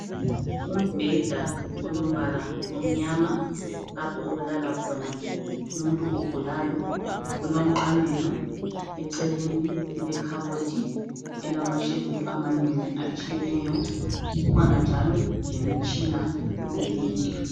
Umbheda olombala omnyama lapho okulala khona umuntu ogulayo kulomqamelo eceleni kule khabothi elamashelufu amanengi atshiyeneyo kukhona njalo lemitshina kule indlu.